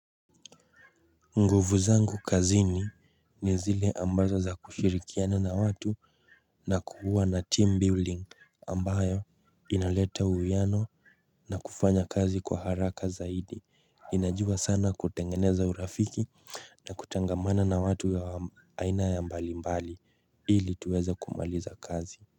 Nguvu zangu kazini ni zile ambazo za kushirikiana na watu na kuwa na team building ambayo inaleta uwiano na kufanya kazi kwa haraka zaidi. Ninajua sana kutengeneza urafiki na kutangamana na watu wa aina ya mbalimbali ili tuweze kumaliza kazi.